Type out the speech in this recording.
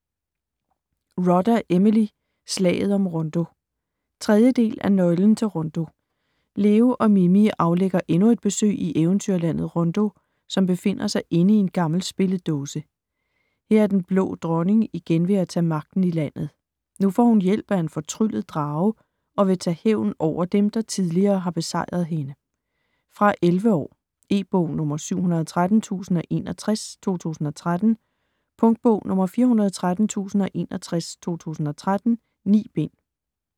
Rodda, Emily: Slaget om Rondo 3. del af Nøglen til Rondo. Leo og Mini aflægger endnu et besøg i eventyrlandet, Rondo, som befinder sig inde i en gammel spilledåse. Her er Den Blå Dronning igen ved at tage magten i landet. Nu får hun hjælp af en fortryllet drage og vil tage hævn over dem, der tidligere har besejret hende. Fra 11 år. E-bog 713061 2013. Punktbog 413061 2013. 9 bind.